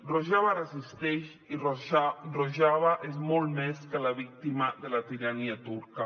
rojava resisteix i rojava és molt més que la víctima de la tirania turca